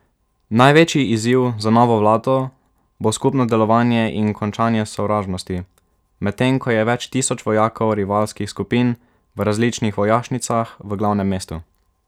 Največji izziv za novo vlado bo skupno delovanje in končanje sovražnosti, medtem ko je več tisoč vojakov rivalskih skupin v različnih vojašnicah v glavnem mestu.